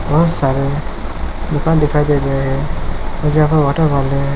बहुत सारे गुफा दिखाई दे रहे है जहा वॉटरफॉल है